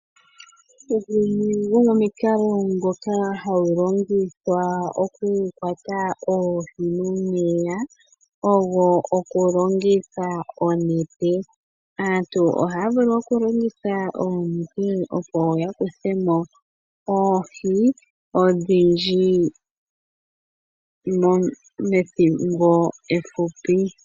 Gumwe gomomikalo ndhoka hadhi longithwa oku kwata oohi momeya ogo oku longitha onete. Aantu ohaya vulu oku longitha onete, opo ya kuthe mo oohi odhindji methimbo ehupi.